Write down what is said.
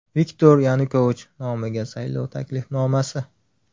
Viktor Yanukovich nomiga saylov taklifnomasi.